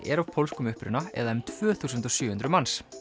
er af pólskum uppruna eða um tvö þúsund og sjö hundruð manns